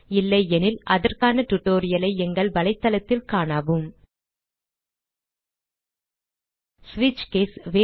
இல்லையெனில் அதற்கான tutorial ஐ எங்கள் வலைத்தளத்தில் காணவும் ஸ்விட்ச் கேஸ்